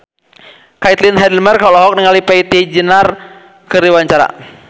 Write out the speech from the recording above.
Caitlin Halderman olohok ningali Preity Zinta keur diwawancara